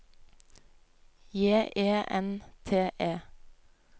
J E N T E